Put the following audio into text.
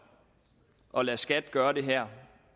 at lade skat gøre det her